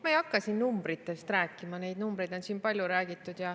Ma ei hakka siin numbritest rääkima, neist on siin palju räägitud.